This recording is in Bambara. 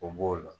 O b'o la